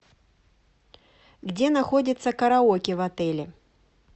где находится караоке в отеле